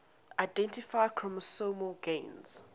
identify chromosomal gains